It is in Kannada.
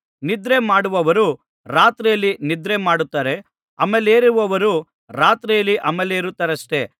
ನಿದ್ರೆಮಾಡುವವರು ರಾತ್ರಿಯಲ್ಲಿ ನಿದ್ರೆ ಮಾಡುತ್ತಾರೆ ಅಮಲೇರುವವರು ರಾತ್ರಿಯಲ್ಲಿ ಅಮಲೇರುತ್ತಾರಷ್ಟೆ